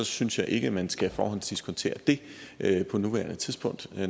synes jeg ikke at man skal forhåndsdiskontere det på nuværende tidspunkt